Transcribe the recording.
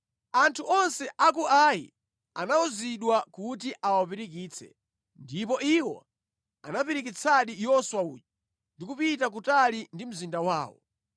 Anthu onse a ku Ai anawuzidwa kuti awapirikitse. Ndipo iwo anapirikitsadi Yoswa uja, ndi kupita kutali ndi mzinda wawo.